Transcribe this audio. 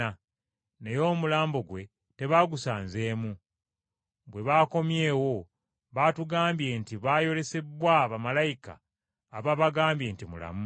naye omulambo gwe tebaagusanzeemu. Bwe baakomyewo baatugambye nti bayolesebbwa ba bamalayika abaabagambye nti mulamu!